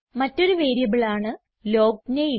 മറ്റൊരു വേരിയബിളാണ് ലോഗ്നേം